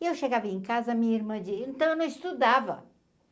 E eu chegava em casa, a minha irmã de... Então, eu não estudava.